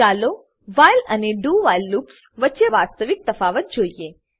ચાલો હવે વ્હાઇલ અને do વ્હાઇલ લૂપ્સ વચ્ચે વાસ્તવિક તફાવત જોઈએ